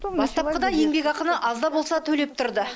бастапқыда еңбекақыны аз да болса төлеп тұрды